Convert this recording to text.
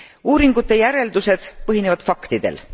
Uuringute järeldused põhinevad faktidel.